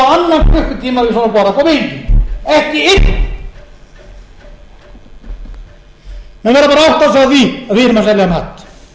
við svona borð á kanarí og ekki einn menn verða bara að átta sig á því að við erum að selja mat